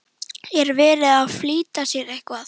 Er verið að flýta sér eitthvað?